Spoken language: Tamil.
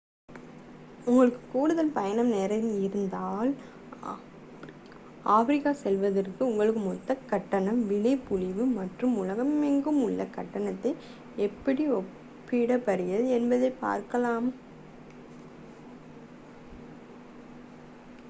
உங்களுக்கு கூடுதல் பயண நேரம் இருந்தால் ஆப்பிரிக்கா செல்வதற்கு உங்கள் மொத்த கட்டண விலைப்புள்ளி மற்ற உலகமெங்கும் உள்ள கட்டணத்துடன் எப்படி ஒப்பிடப்படுகிறது என்பதைப் பார்க்கவும்